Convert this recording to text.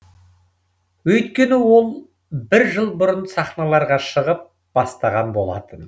өйткені ол бір жыл бұрын сахналарға шығып бастаған болатын